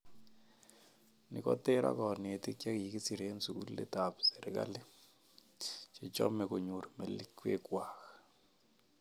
Ni koter ak kanetik chikikisir eng sugulisiek ab serikali, che chom konyoru melekwek kwak.